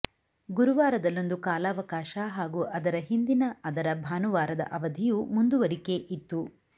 ಗುರುವಾರದಲ್ಲೊಂದು ಕಾಲಾವಕಾಶ ಹಾಗು ಅದರ ಹಿಂದಿನ ಅದರ ಭಾನುವಾರದ ಅವಧಿಯು ಮುಂದುವರಿಕೆ ಇತ್ತು